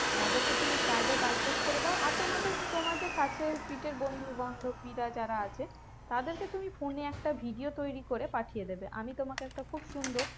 তাদেরকে তুমি card এ by post করে দাও আর তোমাদের~ তোমার যে কাছেপিঠে বন্ধু বান্ধবীরা যারা আছে তাদেরকে তুমি phone এ একটা video তৈরী করে পাঠিয়ে দেবে আমি তোমাকে একটা খুব সুন্দর